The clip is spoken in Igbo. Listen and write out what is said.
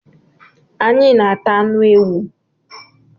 Anyị na ata anụ ewu